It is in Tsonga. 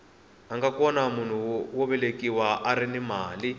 anga kona munhu wo velekiwa arini mali